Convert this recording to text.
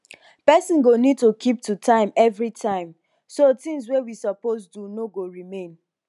person go need to keep to time every time so tins wey we suppose do no go remain